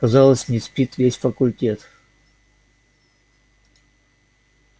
казалось не спит весь факультет